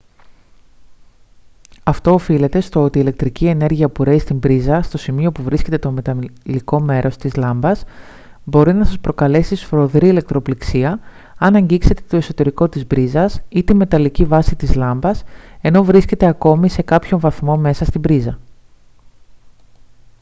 αυτό οφείλεται στο ότι η ηλεκτρική ενέργεια που ρέει στην πρίζα στο σημείο που βρίσκεται το μεταλλικό μέρος της λάμπας μπορεί να σας προκαλέσει σφοδρή ηλεκτροπληξία αν αγγίξετε το εσωτερικό της πρίζας ή την μεταλλική βάση της λάμπας ενώ βρίσκεται ακόμη σε κάποιον βαθμό μέσα στην πρίζα